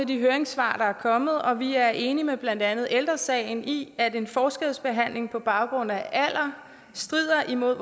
de høringssvar der er kommet og vi er enige med blandt andet ældre sagen i at en forskelsbehandling på baggrund af alder strider imod